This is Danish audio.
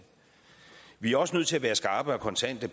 vi er også nødt til at være skarpe og kontante